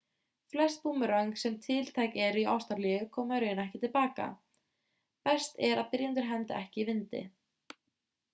flest búmeröng sem tiltæk eru í ástralíu koma í raun ekki til baka best er að byrjendur hendi ekki í vindi